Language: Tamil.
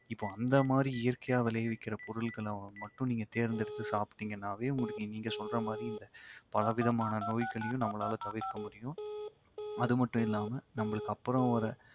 இப்போ அந்த மாதிரி இயற்கையா விளைவிக்கிற பொருளகள மட்டும் நீங்க தேர்ந்தெடுத்து சாப்பிட்டிங்கனாவே உங்களுக்கு நீங்க சொல்ற மாதரி இந்த பலவிதமான நோய்களையும் நம்மளால தவிர்க்க முடியும். அதுமட்டுமில்லாம நமக்கு அப்புறம் வர